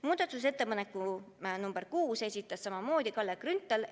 Muudatusettepaneku nr 6 esitas samamoodi Kalle Grünthal.